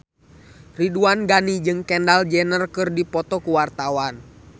Ridwan Ghani jeung Kendall Jenner keur dipoto ku wartawan